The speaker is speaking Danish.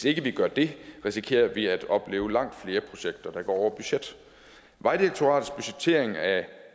ikke gør det risikerer vi at opleve langt flere projekter der går over budgettet vejdirektoratets budgettering af